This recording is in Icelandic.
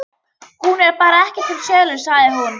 Hún er bara ekki til sölu, sagði hún.